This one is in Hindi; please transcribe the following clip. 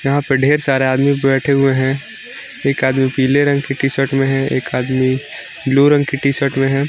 यहां पे ढेर सारे आदमी बैठे हुए हैं एक आदमी पीले रंग की टी शर्ट में है एक आदमी ब्लू रंग की टी शर्ट में है।